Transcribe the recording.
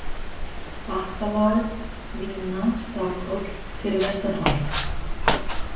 Bakkalág, Lína, Stakhóll, Fyrir vestan holt